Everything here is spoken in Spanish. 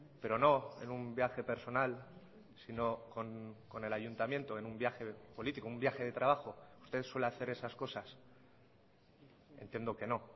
pero no en un viaje personal sino con el ayuntamiento en un viaje político un viaje de trabajo usted suele hacer esas cosas entiendo que no